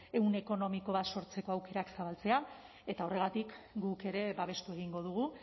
ehun ekonomikoa sortzeko aukerak zabaltzea eta horregatik guk ere babestu egingo dugu